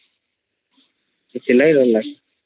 ସେଥିଲାଗି ଡର ଲାଗେ